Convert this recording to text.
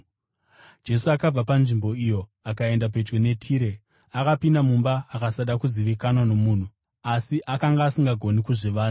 Jesu akabva panzvimbo iyo akaenda pedyo neTire. Akapinda mumba akasada kuzivikanwa nomunhu; asi akanga asingagoni kuzvivanza.